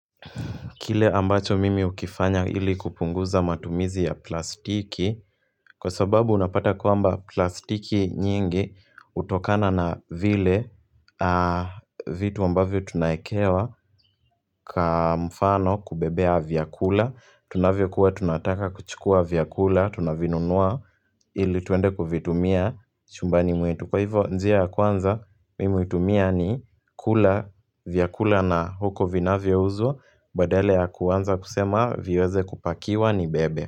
Kile ambacho mimi hukifanya ili kupunguza matumizi ya plastiki, kwa sababu unapata kwamba plastiki nyingi hutokana na vile vitu ambavyo tunaekewa kwa mfano kubebea vyakula, tunavyo kuwa tunataka kuchukua vyakula, tunavinunua ili tuende kuvitumia chumbani mwetu. Kwa hivyo njia ya kwanza, mimi hutumia ni kula, vyakula na huko vinavyaouzwa, badala ya kuanza kusema, viweze kupakiwa nibebe.